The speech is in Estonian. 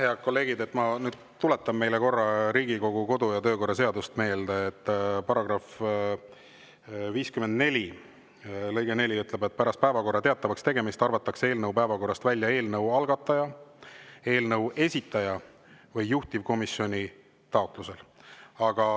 Head kolleegid, ma tuletan meile korra Riigikogu kodu‑ ja töökorra seadust meelde: § 54 lõige 4 ütleb, et pärast päevakorra teatavakstegemist arvatakse eelnõu päevakorrast välja eelnõu algataja, eelnõu esitaja või juhtivkomisjoni taotlusel.